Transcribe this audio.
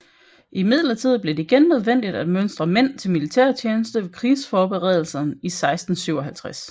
Imidlertid blev det igen nødvendigt at mønstre mænd til militærtjeneste ved krigsforberedelserne i 1657